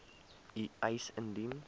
u eis indien